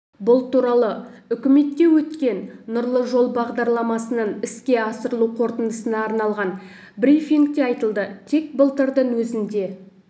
бұл туралы үкіметте өткен нұрлы жол бағдарламасының іске асырылу қорытындысына арналған брифингте айтылды тек былтырдың өзінде